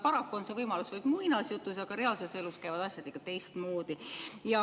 Paraku on see võimalus vaid muinasjutus, reaalses elus käivad asjad ikka teistmoodi.